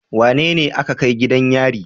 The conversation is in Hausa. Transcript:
Wanene aka kai gidan yari?